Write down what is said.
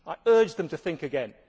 I urge them to think again.